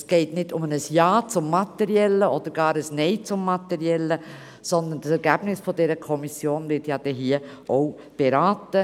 Es geht nicht um ein Ja zum Materiellen oder gar einem Nein zum Materiellen, sondern das Ergebnis aus der Kommission wird denn hier auch beraten.